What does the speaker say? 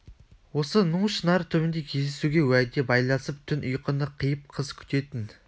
осы ну шынар түбінде кездесуге уәде байласып түн ұйқыны қиып қыз күтетін